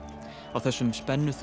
á þessum